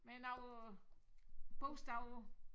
Men noget bogstaver på